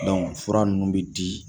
fura nunnu bi di